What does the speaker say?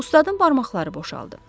Ustadın barmaqları boşaldı.